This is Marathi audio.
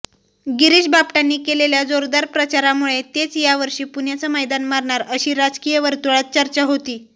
गिरीश बापटांनी केलेल्या जोरदार प्रचारामुळे तेच यावर्षी पुण्याचं मैदान मारणार अशी राजकीय वर्तुळात चर्चा होती